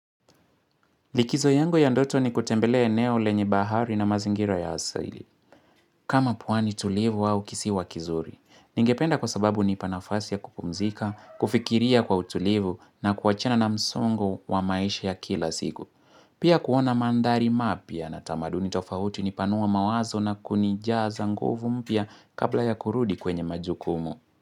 Likizo yangu ya ndoto ni kutembelea eneo lenye bahari na mazingira ya asili. Kama pwani tulivu au kisiwa kizuri. Ningependa kwa sababu hunipa nafasi ya kupumzika, kufikiria kwa utulivu na kuachana na msongo wa maisha ya kila siku. Pia kuona mandhari mapya na tamaduni tofauti hunipanua mawazo na kunijaaza nguvu mpya kabla ya kurudi kwenye majukumu.